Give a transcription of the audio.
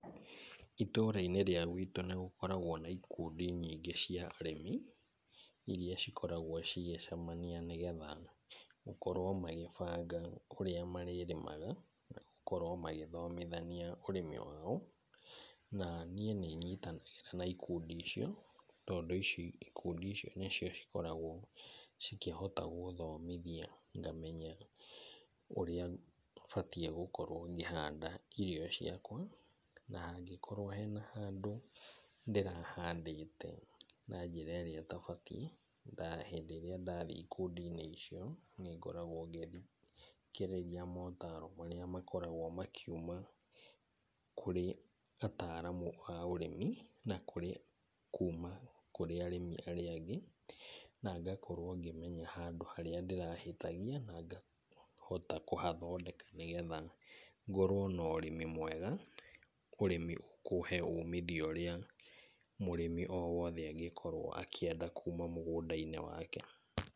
Itũra-inĩ rĩa gwĩtũ nĩgũkoragwo na ikundi nyingĩ cia arĩmi irĩa cikoragwo cigĩcemania, nĩgetha makorwo magĩbanga ũrĩa marĩrĩmaga gũkorwo magĩthomithania ũrĩmi wao. Na niĩ nĩnyitanagĩra na ikundi icio, tondũ ikundi icio nĩcio cikoragwo cikĩhota gũthomithia, ngamenya ũrĩa batiĩ gũkorwo ngĩhanda irio ciakwa. Na hangĩkorwo hena handũ ndĩrahandĩte na njĩra irĩa ĩtabatiĩ, rĩrĩa ndathiĩ ikundi-inĩ icio nĩngoragwo ngĩthikĩrĩria motaro marĩa makoragwo makĩuma kũrĩ ataramu a ũrĩmi na kũrĩ kuma kũrĩ arĩmi arĩa angĩ, na ngakorwo ngĩmenya handũ harĩa ndĩrahĩtagia, na ngahota kũhathondeka, nĩgetha ngorwo na ũrĩmi mwega ũrĩmi ũkũhe umithio ũrĩa mũrĩmi o wothe angĩkorwo akĩenda kuma mũgũnda-inĩ wake.